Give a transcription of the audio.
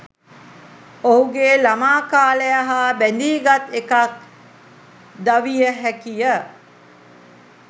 ඔහුගේ ළමා කාලය හා බැඳී ගත් එකක් ද විය හැකිය.